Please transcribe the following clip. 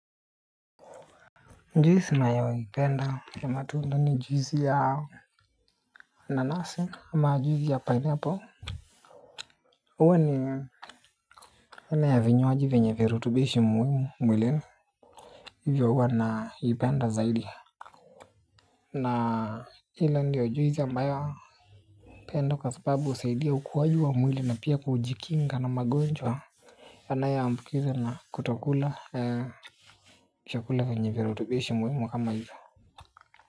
Juisi ninayoipenda ya matunda ni juisi ya nanasi ama juisi ya pineapple huwa ni aina ya vinywaji vyenya virutubishi muhimu mwilini. Hivyo huwa naipenda zaidi. Na ile ndiyo juisi ambayo napenda kwa sababu husaidia ukuaji wa mwili na pia kujikinga na magonjwa yanayo ambukizwa na kutokula chakula vyenye virutubishi muhimu kama hivyo. Kwa hivyo.